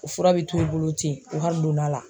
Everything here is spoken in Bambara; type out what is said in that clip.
O fura bɛ t'u bolo ten u ha donn'a la.